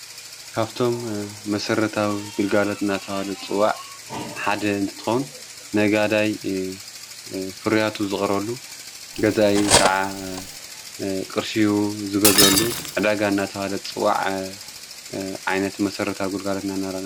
ካብቶም መሠረታዊ ግልጋሎት እናተበሀል ይፅዋዕ ሓደ እንትትኾን ነጋዳይ ፍርያቱ ዘቕርበሉ ገዛን ከዓ ቕርሽ ዝገዘሉ ኣዳጋ እናታዋለት ጽዋዕ ዓይነት መሠረታዊ ግልጋሎት ።